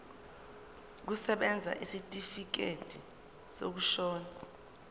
kusebenza isitifikedi sokushona